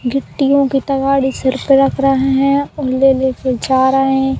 गिट्टीयों की तगाड़ी सिर पर रख रहे हैं और ले ले के जा रहे।